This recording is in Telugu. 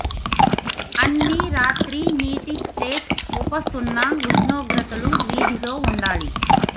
అన్ని రాత్రి నీటి ప్లేట్ ఉప సున్నా ఉష్ణోగ్రతలు వీధిలో ఉండాలి